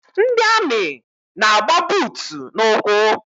Ndị amị na-agba buutu n'ụkwụ.